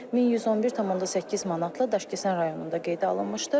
1111,8 manatla Daşkəsən rayonunda qeydə alınmışdır.